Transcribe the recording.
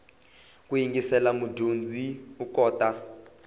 ku yingisela mudyondzi u kota